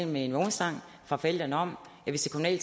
med en vognstang fra forældrene om at hvis det